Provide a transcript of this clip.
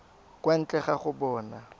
kwa ntle ga go bona